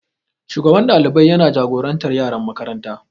Shugaban ɗalibai yana jagorantar yaran makaranta.